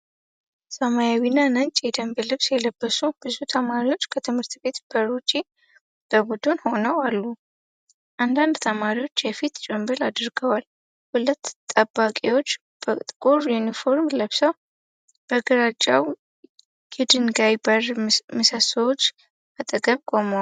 ሰማያዊና ነጭ የደንብ ልብስ የለበሱ ብዙ ተማሪዎች ከትምህርት ቤት በር ውጭ በቡድን ሆነው አሉ። አንዳንድ ተማሪዎች የፊት ጭንብል አድርገዋል። ሁለት ጠባቂዎች በጥቁር ዩኒፎርም ለብሰው በግራጫው የድንጋይ በር ምሰሶዎች አጠገብ ቆመዋል።